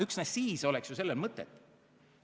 Üksnes siis oleks sel seadusel mõtet.